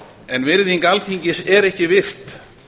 en virðing alþingis er ekki virt